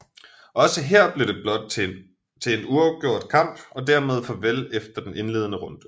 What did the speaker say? Også her blev det blot til en uafgjort kamp og dermed farvel efter den indledende runde